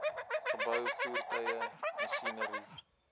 geboue voertuie masjinerie